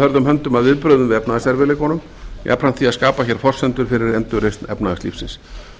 hörðum höndum að viðbrögðum við efnahagserfiðleikunum jafnframt því að skapa hér forsendur fyrir endurreisn efnahagslífsins